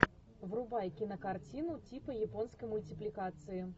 врубай кинокартину типа японской мультипликации